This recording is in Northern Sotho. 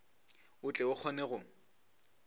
o tle o kgone go